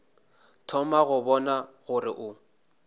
thoma go bona gore o